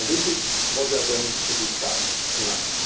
This is what we are going to discuss tonight.